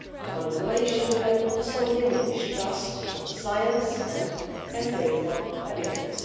Manipulation can also diminish trust in science and empirical evidence.